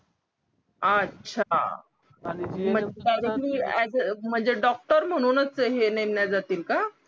अच्छा म्हणजे डॉक्टर म्हणूनच हे नेमले जातील का